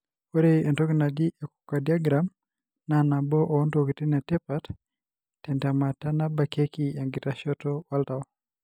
Ore entoki naaji enchocardiogram na nabo ontokitin etipatentemata nabakieki enkitashoto oltau.